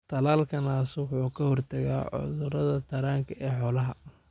Talaalka naasuhu wuxuu ka hortagaa cudurada taranka ee xoolaha.